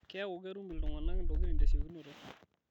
Keeku ketum ltungana ntokitin tesiokinoto